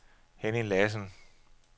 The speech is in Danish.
Henny Lassen